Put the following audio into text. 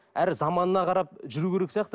әр заманына қарап жүру керек сияқты